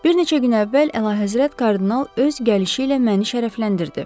Bir neçə gün əvvəl Əlahəzrət kardinal öz gəlişi ilə məni şərəfləndirdi.